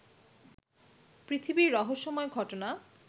পৃথিবীর রহস্যময় ঘটনা